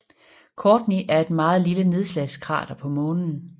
Courtney er et meget lille nedslagskrater på Månen